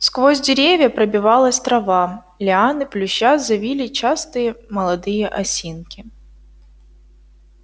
сквозь деревья пробилась трава лианы плюща завили частые молодые осинки